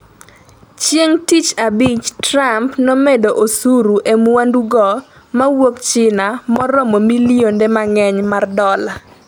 chieng tich abich Trump nomedo osuru e mwandu go mawuok China moromo milionde mangeny mar dola